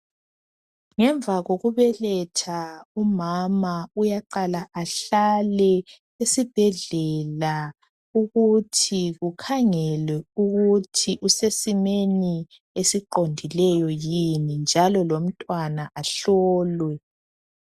Ngemva kokubeletha umama uyaqala ahlale esibhedlela ukuthi bakhangele ukuthi usesimeni esiqondileyo yini njalo lomntwana ahlolwe.